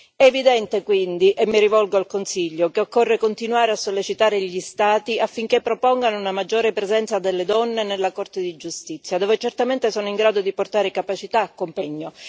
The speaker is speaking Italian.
È evidente, quindi e mi rivolgo al Consiglio che occorre continuare a sollecitare gli Stati affinché propongano una maggiore presenza delle donne nella Corte di giustizia, dove certamente sono in grado di portare capacità, competenza e impegno.